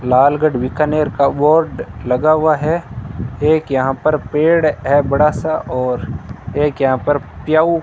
लालगढ़ बीकानेर का बोर्ड लगा हुआ है एक यहां पर पेड़ है बड़ा सा और एक यहां पर प्याऊ --